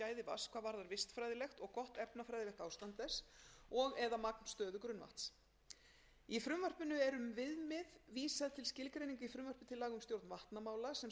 vatns hvað varðar vistfræðilegt og gott efnafræðilegt ástand þess og eða magnstöðu grunnvatns í frumvarpinu er um viðmið vísað til skilgreininga í frumvarpi til laga um stjórn vatnamála sem samið var til innleiðingar hér